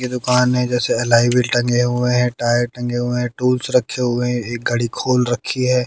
ये दुकान है जैसे अलैव्हिल टंगे हुए है टायर टंगे गए हुए हैं टूल्स रखे हुए एक घड़ी खोल रखी है।